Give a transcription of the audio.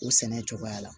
O sɛnɛ cogoya la